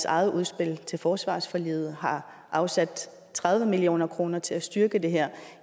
eget udspil til forsvarsforliget har afsat tredive million kroner til at styrke det her